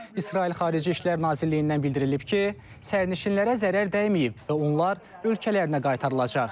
İsrail Xarici İşlər Nazirliyindən bildirilib ki, sərnişinlərə zərər dəyməyib və onlar ölkələrinə qaytarılacaq.